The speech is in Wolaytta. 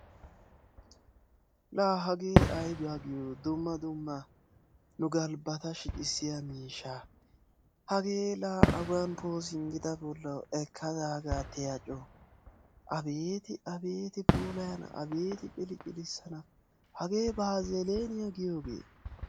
Laa hagaa aybaa giyo dumma dumma nu galbata shiccissiyaaga dumma dumma awan poosimida bolla ekkada hagaa tiya coo. abeeti ciliclissana hagee baazziliiniyaa giyoogee?